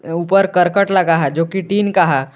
ऊपर करकट लगा है जोकि टीन का है।